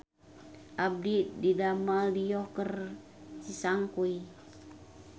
Abdi didamel di Yogurt Cisangkuy